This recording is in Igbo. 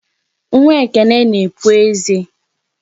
Nwa Ekene na-epu eze.